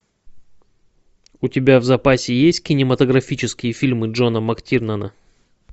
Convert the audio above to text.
у тебя в запасе есть кинематографические фильмы джона мактирнана